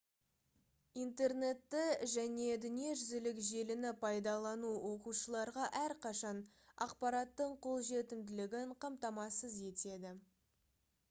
интернетті және дүниежүзілік желіні пайдалану оқушыларға әрқашан ақпараттың қолжетімділігін қамтамасыз етеді